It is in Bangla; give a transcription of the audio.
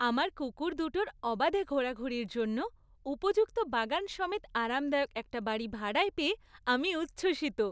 আমার কুকুর দুটোর অবাধে ঘোরাঘুরির জন্য উপযুক্ত বাগান সমেত আরামদায়ক একটা বাড়ি ভাড়ায় পেয়ে আমি উচ্ছ্বসিত।